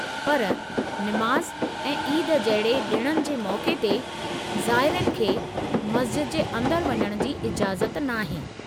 पर निमाज़ ऐं ईद जहिड़े ॾिणनि जे मौक़े ते ज़ाइरनि खे मस्ज़िद जे अंदरि वञण जी इजाज़त नाहे।